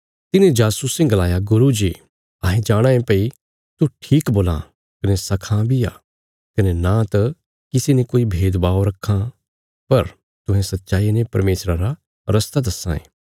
तिन्हे जासूसें गलाया गुरू जी अहें जाणाँ ये भई तू ठीक बोलां कने सखां बी आ कने न त किसी ने कोई भेदभाव रक्खां पर तुहें सच्चाईया ने परमेशरा रा रस्ता दस्सां ये